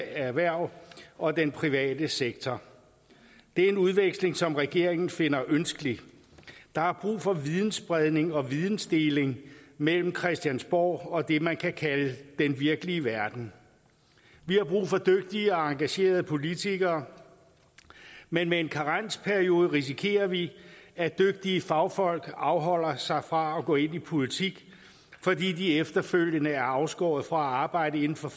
erhverv og den private sektor det er en udveksling som regeringen finder ønskelig der er brug for vidensspredning og vidensdeling mellem christiansborg og det man kan kalde den virkelige verden vi har brug for dygtige og engagerede politikere men med en karensperiode risikerer vi at dygtige fagfolk afholder sig fra at gå ind i politik fordi de efterfølgende er afskåret fra at arbejde inden for